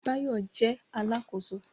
Báyọ̀ jẹ́ Alákóso